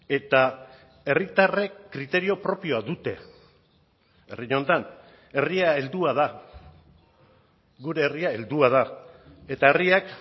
eta herritarrek kriterio propioa dute herri honetan herria heldua da gure herria heldua da eta herriak